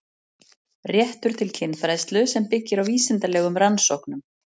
Réttur til kynfræðslu sem byggir á vísindalegum rannsóknum